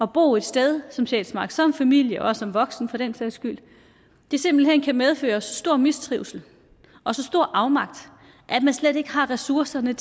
bo et sted som sjælsmark som familie og som voksen for den sags skyld simpelt hen kan medføre så stor mistrivsel og så stor afmagt at man slet ikke har ressourcerne